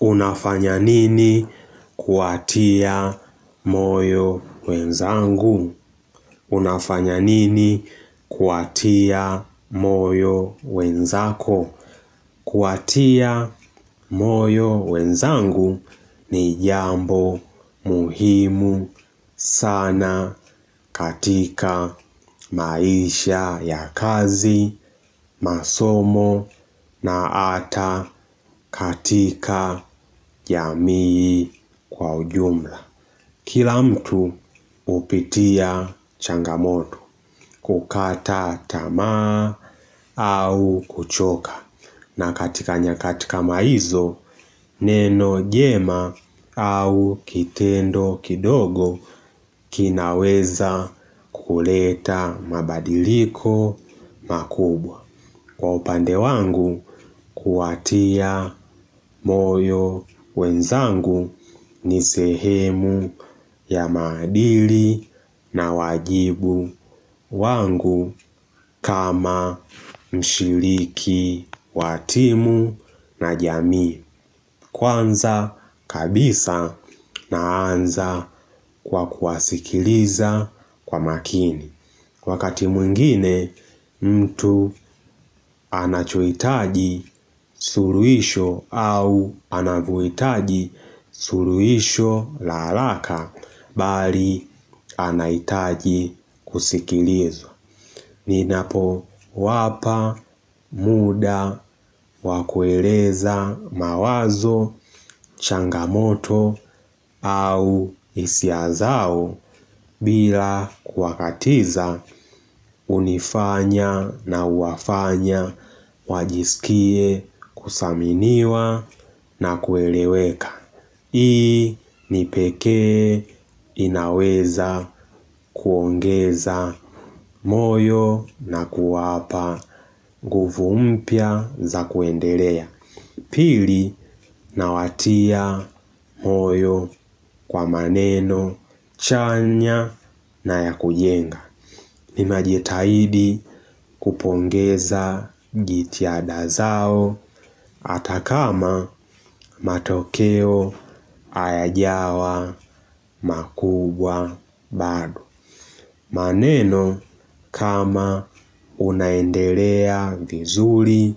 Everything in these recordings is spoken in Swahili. Unafanya nini kuatia moyo wenzangu? Unafanya nini kuwatia moyo wenzako? Kuwatia moyo wenzangu ni jambo muhimu sana katika maisha ya kazi, masomo na ata katika jamii kwa ujumla. Kila mtu hupitia changamoto kukata tamaa au kuchoka na katika nyakati kama hizo neno jema au kitendo kidogo kinaweza kuleta mabadiliko makubwa. Kwa upande wangu, kuwatia moyo wenzangu ni sehemu ya maadili na wajibu wangu kama mshiriki, wa timu na jamii. Kwanza kabisa naanza kwa kuwasikiliza kwa makini. Wakati mwingine mtu anachoitaji suluisho au anavyoitaji suluisho la alaka bali anaitaji kusikilizwa. Ninapowapa muda wa kueleza mawazo, changamoto au isia zao bila kuwakatiza unifanya na uwafanya wajiskie kusaminiwa na kueleweka. Hii nipekee inaweza kuongeza moyo na kuwapa nguvu mpya za kuendelea Pili nawatia moyo kwa maneno chanya na ya kujenga Ninajitahidi kupongeza jitihada zao ata kama matokeo ayajawa makubwa bado. Maneno kama unaendelea vizuri,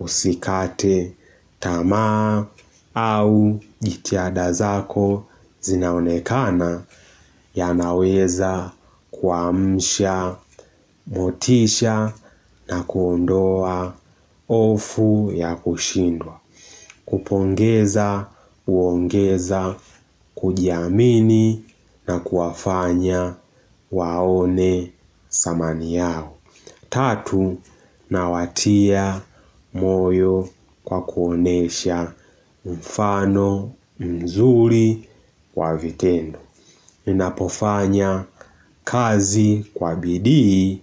usikate tamaa au jitiada zako zinaonekana yanaweza kuamsha, motisha na kuondoa ofu ya kushindwa. Kupongeza uongeza kujiamini na kuwafanya waone samani yao Tatu, nawatia moyo kwa kuonesha mfano mzuri kwa vitendo Ninapofanya kazi kwa bidii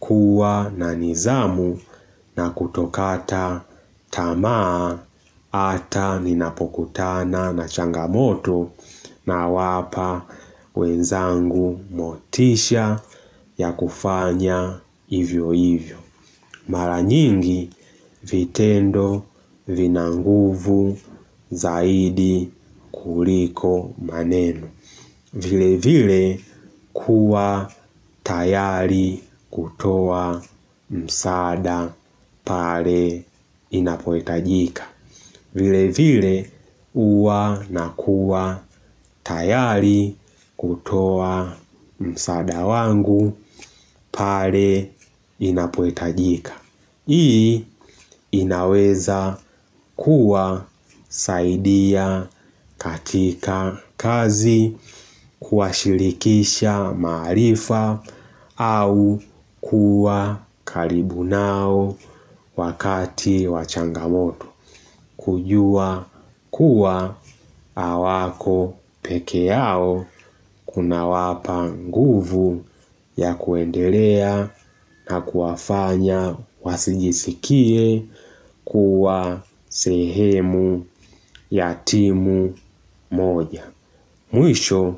kuwa na nizamu na kutokata tamaa ata ninapokutana na changamoto nawapa wenzangu motisha ya kufanya hivyo hivyo. Mara nyingi vitendo vina nguvu zaidi kuliko maneno. Vile vile kuwa tayari kutoa msaada pare inapohitajika. Vile vile uwa nakuwa tayari kutoa msaada wangu pare inapoitajika. Hii inaweza kuwa saidia katika kazi kuashirikisha maarifa au kuwa kalibu nao wakati wa changamoto. Kujua kuwa awako peke yao kunawapa nguvu ya kuendelea na kuwafanya wasijisikie kuwa sehemu ya timu moja. Mwisho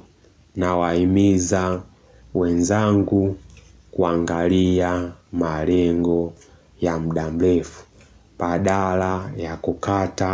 nawahimiza wenzangu kuangalia marengo ya mda mrefu badala ya kukata.